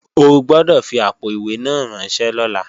O gbọ́dọ̀ fi àpò-ìwé náà ránṣẹ́ lọ́la!